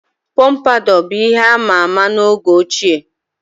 Pompadour bụ ihe ama ama na oge ochie.